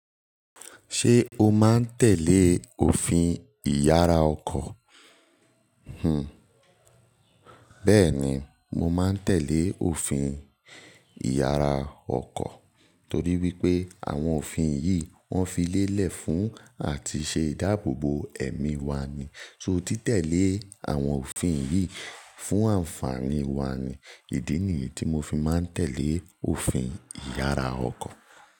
Ṣé o máa ń tẹ̀lé òfin ìyára ọkọ̀? Hm. Bẹ́ẹ̀ni, mo máa ń tẹ̀lé òfin ìyára ọkọ̀ torí wípé àwọn òfin yìí wọ́n fi lélẹ̀ fún àti ṣe ìdáàbòbò ẹ̀mí wa ni. So tí tẹ̀lé àwọn òfin yìí fún àǹfààní wa ni ìdí nìyí tí mo fi máa ń tẹ̀lé òfin ìyára ọkọ̀.